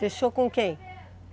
Deixou com quem?